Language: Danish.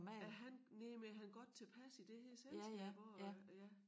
Er han næ men er han godt tilpas i det her selskab også øh ja